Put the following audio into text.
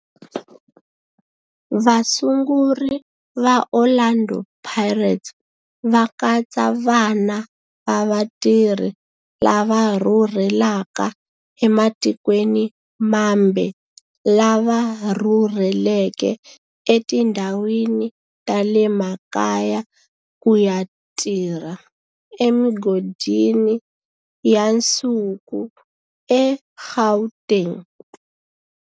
Vasunguri va Orlando Pirates va katsa vana va vatirhi lava rhurhelaka ematikweni mambe lava rhurheleke etindhawini ta le makaya ku ya tirha emigodini ya nsuku eGauteng.